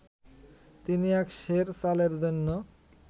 তিনি এক সের চালের জন্য